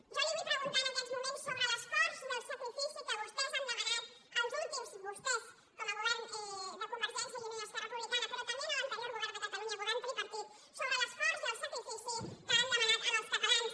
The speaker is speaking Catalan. jo li vull preguntar en aquests moments sobre l’esforç i el sacrifici que vostès han demanat els últims vostès com a govern de convergència i unió i esquerra republicana però també a l’anterior govern de catalunya govern tripartit sobre l’esforç i el sacrifici que han demanat als catalans